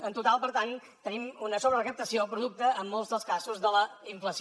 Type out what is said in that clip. en total per tant tenim una sobrerecaptació producte en molts dels casos de la inflació